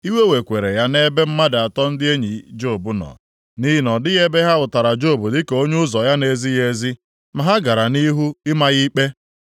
Iwe wekwara ya nʼebe mmadụ atọ ndị enyi Job nọ, nʼihi na ọ dịghị ebe ha hụtara Job dịka onye ụzọ ya na-ezighị ezi, ma ha gara nʼihu ịma ya ikpe.